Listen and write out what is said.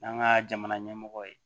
N'an ka jamana ɲɛmɔgɔ ye